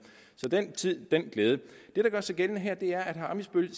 så den tid den glæde det der gør sig gældende her er at herre ammitzbøll